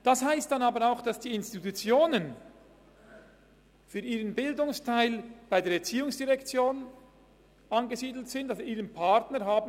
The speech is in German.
Das heisst dann aber auch, dass die Institutionen für ihren Bildungsteil ihren Partner bei der ERZ haben.